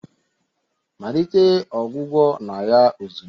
malite ọgwụgwọ na ya ozugbo!